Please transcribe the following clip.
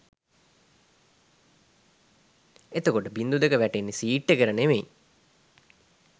එතකොට බින්දු දෙක වැටෙන්නෙ සීට් එකට නෙමෙයි